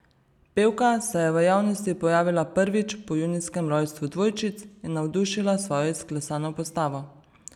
Pevka se je v javnosti pojavila prvič po junijskem rojstvu dvojčic in navdušila s svojo izklesano postavo.